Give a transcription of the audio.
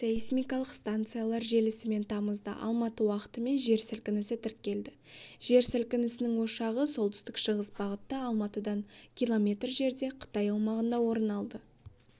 сейсмикалық станциялар желісімен тамызда алматы уақытымен жер сілкінісі тіркелді жер сілкінісінің ошағы солтүстік-шығыс бағытта алматыдан километр жерде қытай аумағында орын алды